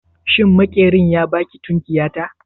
Jiya Maƙerin ya ba ki tukunyata?